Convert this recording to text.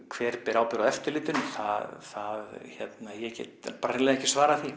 hver ber ábyrgð á eftirlitinu ég get bara hreinlega ekki svarað því